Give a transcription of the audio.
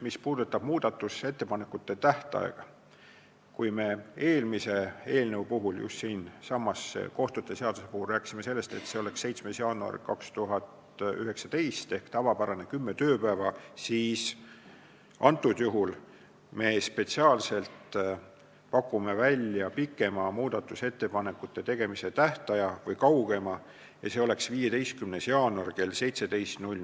Mis puudutab muudatusettepanekute esitamise tähtaega, siis kui me eelmise eelnõu, kohtute seaduse eelnõu puhul rääkisime, et see tähtaeg on 7. jaanuar 2019 ehk tavapärane kümme tööpäeva, siis antud juhul me spetsiaalselt pakume välja kaugema muudatusettepanekute tegemise tähtaja ja see on 15. jaanuar kell 17.